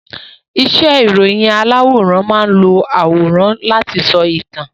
Iṣẹ́ ìròyìn aláwòrán máán lo àwòrán láti sọ ìtàn